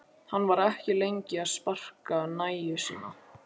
Hann var lengi að sparka nægju sína.